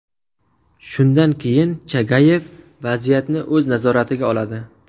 Shundan keyin Chagayev vaziyatni o‘z nazoratiga oladi.